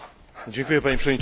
Panie Przewodniczący!